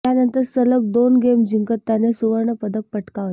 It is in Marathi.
त्यानंतर सलग दोन गेम जिंकत त्याने सुवर्णपदक पटकावले